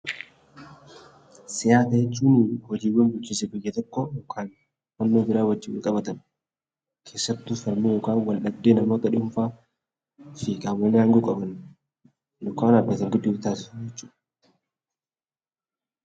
Siyaasa jechuun hojiiwwaan bulchiinsa biyya tokkoo yookaan hubannoo biraa waliin wal qabatan keessattuu falmii yookaan wal dhabdee namoota dhuunfaafi qaamolee haangoo qaban yookaan dhaabbata gidduutti taasifamubjechuudha.